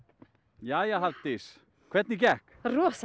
jæja Hafdís hvernig gekk rosa